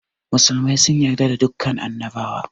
Musulmai sun yarda da dukan annabawa